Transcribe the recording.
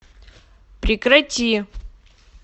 прекрати